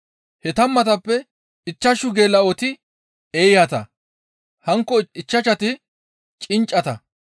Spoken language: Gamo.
He tammatappe ichchashu geela7oti eeyata; hankko ichchashati cinccata.